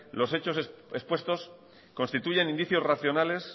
los hechos expuestos constituyen indicios racionales